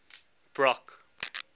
brock